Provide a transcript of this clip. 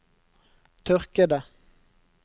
tørkede